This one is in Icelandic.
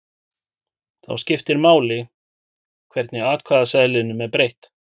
Þá skiptir máli hvernig atkvæðaseðlinum er breytt.